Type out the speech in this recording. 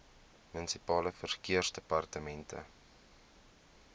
munisipale verkeersdepartemente